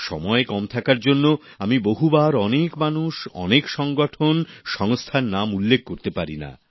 সময় কম থাকার জন্য আমি বহুবার অনেক মানুষ অনেক সংগঠন সংস্থার নাম উল্লেখ করতে পারিনা